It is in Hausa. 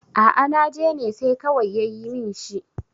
a a najene sai kawai ya yi min shi